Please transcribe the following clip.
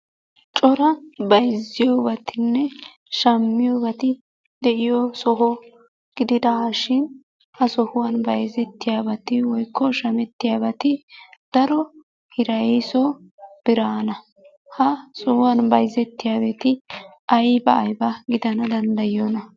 Cora bayziyobattinne shamyibati de'iyo soho gididashin ha sohuwaan bayzettiyabati woykko shamettiyabati daro hiraysso biranna, ha sohuwaani bayzettiyabati ayba ayba gidana dandayiyoona?